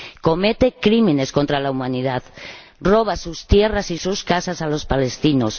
Comete crímenes contra la humanidad, roba sus tierras y sus casas a los palestinos.